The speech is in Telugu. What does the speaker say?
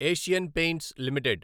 Asian Paints limited